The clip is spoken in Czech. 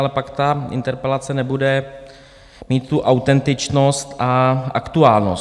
Ale pak ta interpelace nebude mít tu autentičnost a aktuálnost.